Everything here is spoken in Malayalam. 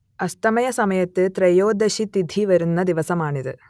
അസ്തമയസമയത്ത് ത്രയോദശി തിഥി വരുന്ന ദിവസമാണിത്